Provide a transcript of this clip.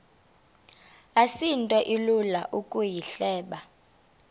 asinto ilula ukuyihleba